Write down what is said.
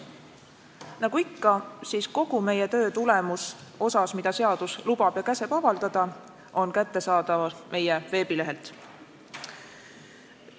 Nagu ikka on kogu meie töö tulemus osas, mida seadus lubab ja käsib avaldada, kättesaadav meie veebilehelt.